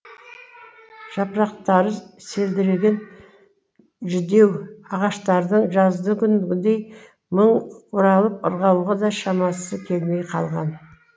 жапырақтары селдіреген жүдеу ағаштардың жаздыкүнгідей мың бұралып ырғалуға да шамасы келмей қалған